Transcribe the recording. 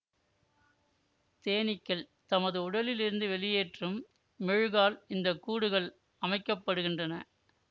தேனீக்கள் தமது உடலில் இருந்து வெளியேற்றும் மெழுகால் இந்த கூடுகள் அமைக்க படுகின்றன